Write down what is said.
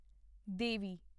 ਦੇਵੀ